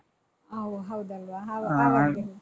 ಓ ಹೌದಲ್ವಾ